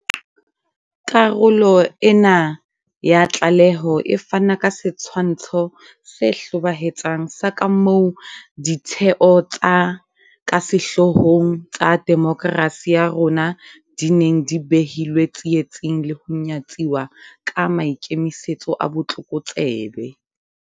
Karolo ena ya tlaleho e fana ka setshwantsho se hlobaetsang sa kamoo ditheo tse ka sehlohlolong tsa demokerasi ya rona di neng di behilwe tsietsing le ho nyatsuwa ka maikemisetso a botlokotsebe.